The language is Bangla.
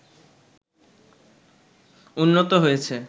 উন্নত হয়েছে